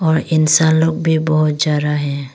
और इंसान लोग भी बहोत जा रहा है।